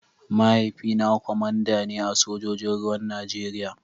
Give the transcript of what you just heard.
Mahaifina kwamanda ne a sojojin ruwan Najeriya.